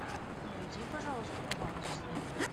найди пожалуйста канал дисней